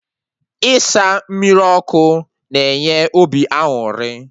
Ịsa mmiri ọkụ na enye obi aṅụrị